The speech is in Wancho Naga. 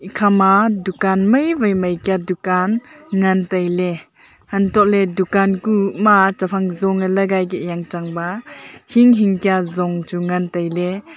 khama maiwai mai kia dukan ngan taile antoh le dunkan kuh ma chephang jong lagai keh jang chang ba hing hing kia jong chu ngan taile.